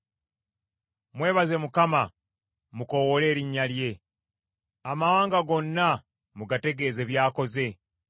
Mwebaze Mukama , mukoowoole erinnya lye; amawanga gonna mugategeeze by’akoze.